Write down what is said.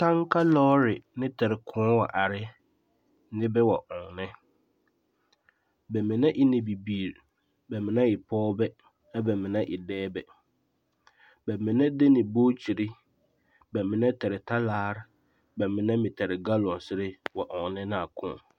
Taŋka lͻͻre ne tare kõͻ wa are nebԑ wa ͻnnԑ. Ba mine e ne bibiiri, ba e pͻgebԑ a bԑ mine e dͻͻbԑ. ba mine de ne bookyiri, bԑ mine tare talaare ba mine meŋ tare galonsere a wa ͻnnͻ ne a kõͻ.